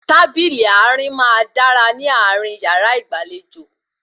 Tábìlì àárín máa dára ní àárín yàrá ìgbàlejò